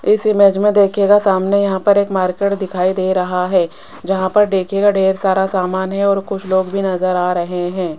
इस इमेज में दिखेगा सामने यहां पर एक मार्केट दिखाई दे रहा है जहां पर देखियेगा ढेर सारा सामान है और कुछ लोग भी नजर आ रहे हैं।